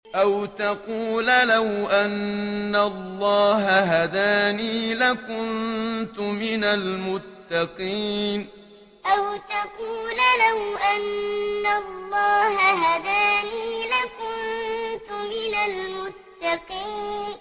أَوْ تَقُولَ لَوْ أَنَّ اللَّهَ هَدَانِي لَكُنتُ مِنَ الْمُتَّقِينَ أَوْ تَقُولَ لَوْ أَنَّ اللَّهَ هَدَانِي لَكُنتُ مِنَ الْمُتَّقِينَ